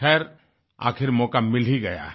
खैर आखिर मौक़ा मिल ही गया है